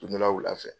Don dɔ la wula fɛ